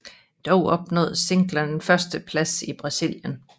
Dog opnåede singlen en førsteplads i Brasilien